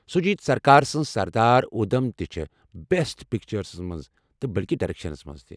شوُجیت سرکار سٕنٛز سردار ادھم تہِ چھےٚ، بٮ۪سٹ پیٚچرَس مَنٛز نہٕ بلکہ ڈریٚکشنَس منٛز۔